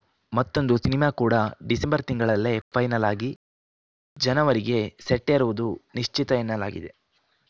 ಮತ್ತೊಂದು ಸಿನಿಮಾ ಕೂಡ ಡಿಸೆಂಬರ್‌ ತಿಂಗಳಲ್ಲೇ ಫೈನಲ್‌ ಆಗಿ ಜನವರಿಗೆ ಸೆಟ್ಟೇರುವುದು ನಿಶ್ಚಿತ ಎನ್ನಲಾಗಿದೆ